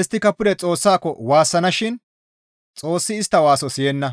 Isttika pude Xoossako waassana shin Xoossi istta waaso siyenna;